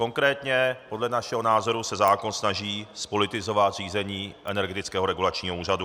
Konkrétně podle našeho názoru se zákon snaží zpolitizovat řízení Energetického regulačního úřadu.